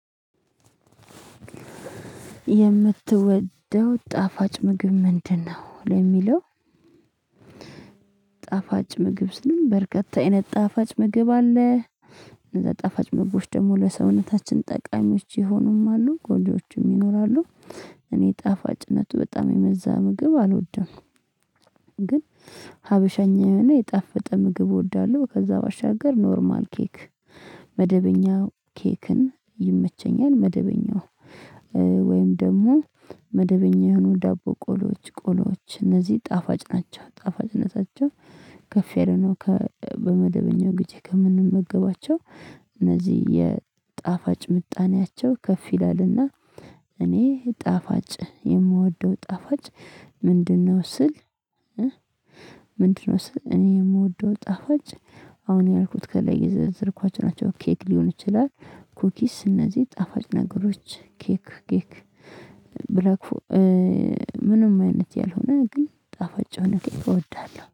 የምትወደው ጣፋጭ ምግብ ምንድነው? ለሚለው ጣፋጭ ምግብ ስንል በርካታ አይነት ጣፋጭ ምግብ አለ እነዛ ጣፋጭ ምግቦች ደግሞ ለሰውነታችን ጠቃሚዎች የሆኑም አሉ ጎጅዎችም ይኖራሉ እኔ ጣፋጭነቱ በጣም የበዛ ምግብ አልወድም ግን ሀበሸኝና የጣፈጠ ምግብ እወዳለሁ ከዛ ባሻገር ኖርማል ኬክ መደበኛው ኬክን ይመቸኛል መደበኛው ወይም ደግሞ መደበኛ የሆኑ ዳቦ ቆሎዎች ቆሎዎች እነዚህ ጣፋጭ ናቸው ጣፋጭነታቸው ከፌርኖ ከ በመደበኛው ጊዜ ከምንመገባቸው እነዚህ የጣፋጭ ምጣኔያቸው ከፍ ይላልና እኔ ጣፋጭ የምወደው ጣፋጭ ምንድነው ስል ምንድነው ስል እኔ የምወደው ጣፋጭ አሁን ያልኩት ከላይ የዘረዘረኳቸው ኬክ ሊሆን ይችላል ኩኪስ እነዚህ ጣፋጭ ነገሮች ኬክ ኬክ ብለህ ምንም አይነት ያልሆነ ግን ጣፋጭ ሆነህ እወዳለሁ